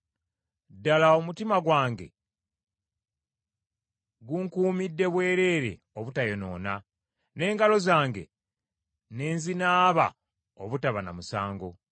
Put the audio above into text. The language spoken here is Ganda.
Ddala omutima gwange ngukuumidde bwereere obutayonoona, n’engalo zange ne nzinaaba obutaba na musango.